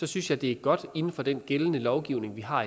synes jeg det er godt inden for den gældende lovgivning vi har